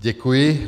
Děkuji.